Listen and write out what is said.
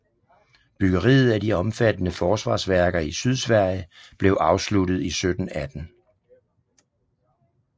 Byggeriet af de omfattende forsvarsværker i Sydsverige blev afsluttet i 1718